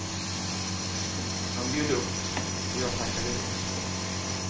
Han bjöd upp och jag tackade ja.